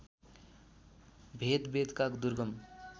भेद वेदका दुर्गम